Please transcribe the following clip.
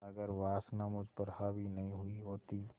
अगर वासना मुझ पर हावी नहीं हुई होती